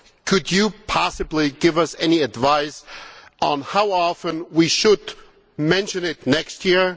Could you possibly give us any advice on how often we should mention them next year?